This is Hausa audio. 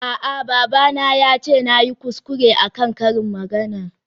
A'a babana yace nayi kuskure akan karin maganar.